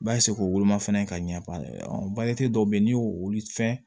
k'u woloma fɛnɛ ka ɲɛ ban dɔw be ye n'i y'o fɛn